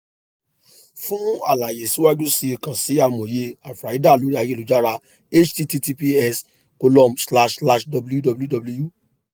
fun alaye siwaju sii kan si amoye ayurveda lori ayelujara https column slash slash www